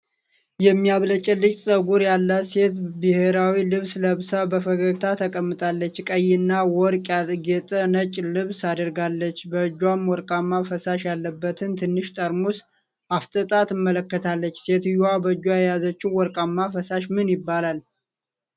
የሚያብለጨልጭ ጸጉር ያላት ሴት ብሔራዊ ልብስ ለብሳ በፈገግታ ተቀምጣለች። ቀይና ወርቅ ያጌጠ ነጭ ልብስ አድርጋለች፤ በእጇም ወርቃማ ፈሳሽ ያለበትን ትንሽ ጠርሙስ አፍጥጣ ትመለከታለች። ሴትየዋ በእጇ የያዘችው ወርቃማ ፈሳሽ ምን ይባላል?